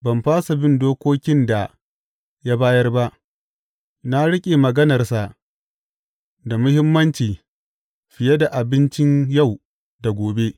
Ban fasa bin dokokin da ya bayar ba; na riƙe maganarsa da muhimmanci fiye da abincin yau da gobe.